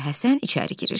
Mirzə Həsən içəri girir.